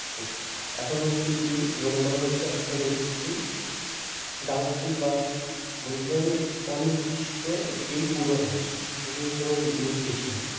হচ্ছে এখনও অবধি এটিই মনে করা হচ্ছে অর্থাৎ এটি একটি doubtful বা মূল্যবান অনির্দিষ্ট একটি পূর্বাভাস এটির কোনও নির্দেশ নেই